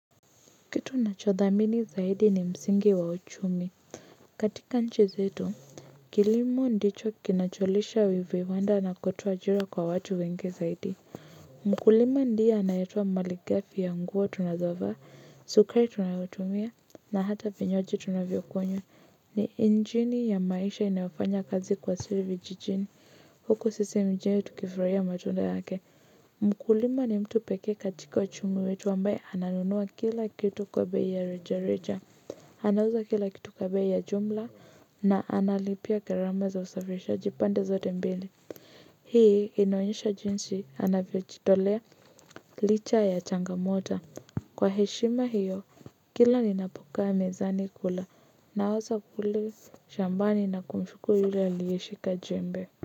Kitu nachodhamini zaidi ni msingi wa uchumi. Katika nchi zetu, kilimo ndicho kinacholisha viwanda na kotoa ajira kwa watu wengi zaidi. Mkulima ndiye anayetoa maligafi ya nguo tunazovaa, sukari tunayotumia, na hata vinywaji tunavyokunywa. Ni injini ya maisha inayofanya kazi kwa siri vijijini. Huku sisi mjini tukifurahia matunda yake. Mkulima ni mtu pekee katika uchumi wetu ambaye ananunua kila kitu kwa bei ya reja reja. Anauza kila kitu kwa bei ya jumla na analipia gharama za usafirishaji pande zote mbili. Hii inaonyesha jinsi anavyojitolea licha ya changamoto. Kwa heshima hiyo kila ninapokaa mezani kula nawaza kule shambani na kumshukuru yule aliyeshika jembe.